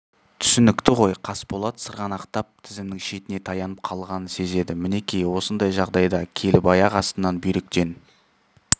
түсінікті ғой қасболат сырғанақтап тізімінің шетіне таянып қалғанын сезеді мінекей осындай жағдайда келіп аяқ астынан бүйректен